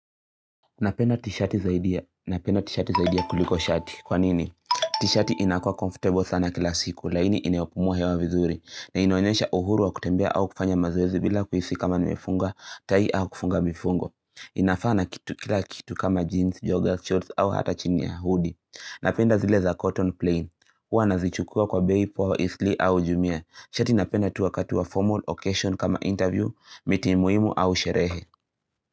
Napenda t-shati saidi ya kuliko shati. Kwa nini? T-shati inakuwa comfortable sana kila siku, laini inayopumua hewa vizuri. Na inaonyesha uhuru wa kutembea au kufanya mazoezi bila kuhisi kama nimefunga tai au kufunga mifungo. Inafaa kila kitu kama jeans, joggers, shorts au hata chini ya hoodie. Napenda zile za cotton plane. Huwa nazichukua kwa bei poa, asli au jumia. Shati napenda tu wakati wa formal occasion kama interview, meeting muhimu au sherehe.